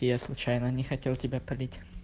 я случайно не хотел тебя палить